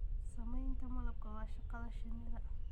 Sameyntamalabka waa shaqada shinnida.